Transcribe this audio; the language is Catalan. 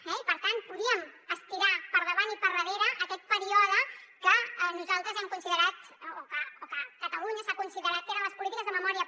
eh i per tant podíem estirar per davant i per darrere aquest període que nosaltres hem considerat o que a catalunya s’ha considerat que eren les polítiques de memòria